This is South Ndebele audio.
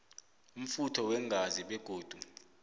umfutho weengazi begodu